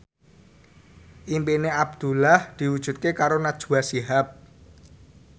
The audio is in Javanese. impine Abdullah diwujudke karo Najwa Shihab